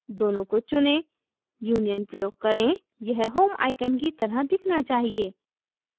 दोनों को चुनें union प्रयोग करें यह home icon की तरह दिखना चाहिए